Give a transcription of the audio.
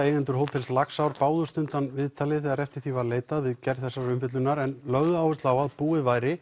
eigendur hótels Laxár báðust undan viðtali þegar eftir því var leitað við gerð þessarar umfjöllunar en lögðu áherslu á að búið væri